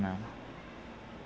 Não.